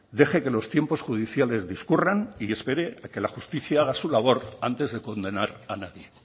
deje que los tiempos judiciales discurran y espere a que la justicia haga su labor antes de condenar a nadie